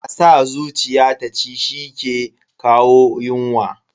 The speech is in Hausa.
A sa zuciya ta ci shi ke kawo yunwa.